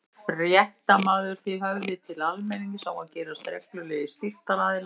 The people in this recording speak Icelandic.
Fréttamaður: Þið höfðið til almennings á að gerast reglulegir styrktaraðilar?